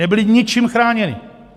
Nebyli ničím chráněni.